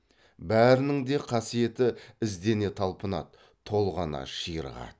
бәрінің де қасиеті іздене талпынады толғана ширығады